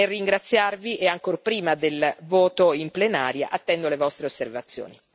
Nel ringraziarvi, e ancor prima del voto in plenaria, attendo le vostre osservazioni.